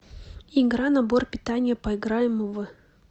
игра набор питания поиграем в